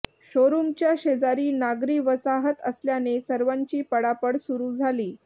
शोरुमच्या शेजारी नागरी वसाहत असल्याने सर्वांची पळापळ सुरु झाली